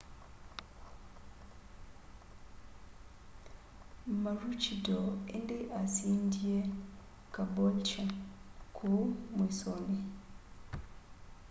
maroochydore indi asindie caboolture kuu mwisoni